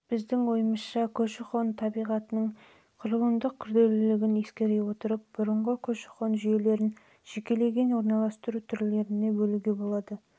біздің ойымызша көші-қон табиғатының белгіленген құрылымдық күрделілігін ескере отырып бұрынғы көші-қон жүйелерін жекеленген орналыстыру түрлерін бөлуге